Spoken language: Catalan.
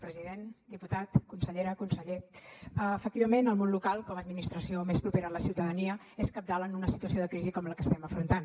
president diputat consellera conseller efectivament el món local com a administració més propera a la ciutadania és cabdal en una situació de crisi com la que estem afrontant